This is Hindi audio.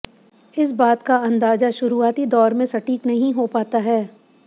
इस बात का अंदाजा शुरुआती दौर में सटीक नहीं हो पाता है